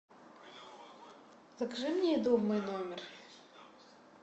закажи мне еду в мой номер